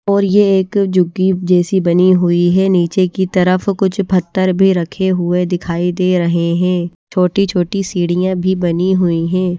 और यह एक झुग्गी जैसी बनी हुई है नीचे की तरफ कुछ पत्थर भी रखे हुए दिखाई दे रहे हैं छोटी छोटी सीढ़ियां भी बनी हुई हैं।